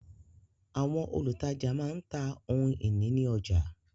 Àwọn olùtajà má ń ta ohun ìní ní ọjà